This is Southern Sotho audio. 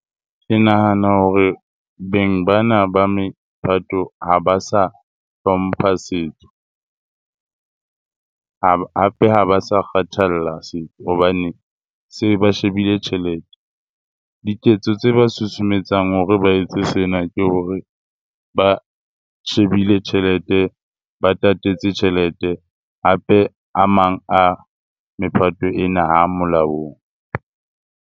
Ke nahana hore beng ba na ba mephato ha ba sa hlompha setso. Hape ha ba sa kgathalla setso hobane se ba shebile tjhelete. Diketso tse ba susumetsang hore ba etse sena ke hore ba shebile tjhelete ba tatetse tjhelete. Hape a mang a mephato ena ha molaong.